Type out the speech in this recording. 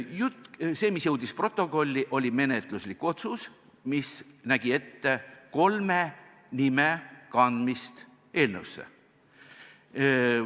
Jutt, see mis jõudis protokolli, oli menetluslik otsus, mis nägi ette kolme nime kandmist eelnõusse.